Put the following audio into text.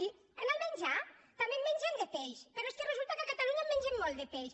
i en el menjar també en mengem de peix però és que resulta que a catalu·nya en mengem molt de peix